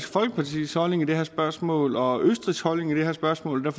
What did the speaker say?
folkepartis holdning i det her spørgsmål og østrigs holdning i det her spørgsmål og